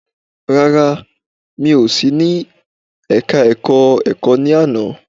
Rárá, mi ò sí ní ẹka ẹ̀kọ́ ẹ̀kọ́ ní àná.